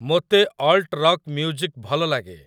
ମୋତେ alt rock music ଭଲଲାଗେ